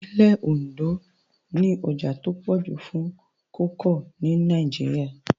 Ìpínlẹ̀ Ondo ní ọjà tó pọ̀ jù fún kókà ní Nàìjíríà